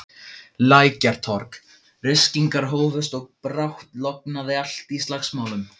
Lækjartorg, ryskingar hófust og brátt logaði allt í slagsmálum.